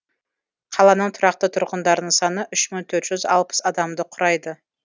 қаланың тұрақты тұрғындарының саны үш мың төрт жүз алпыс адамды құрайды